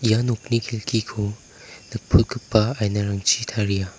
ia nokni kelkiko nikprotgipa ainarangchi taria.